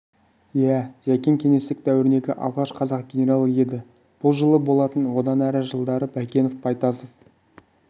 иә жәкең кеңестік дәуірдегі алғаш қазақ генералы еді бұл жылы болатын одан әр жылдары байкенов байтасов